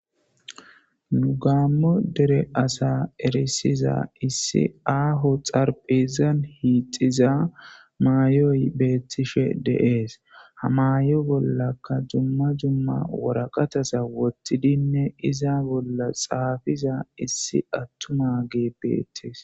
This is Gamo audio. Nu gaamo dere asa ersiza issi aaho xaraphezan hiixiza mayoy beettish de'es. Ha mayo bollankka dumma dumma waraqaataza woththidine iza bolla xaafiza issi attumazi beetes.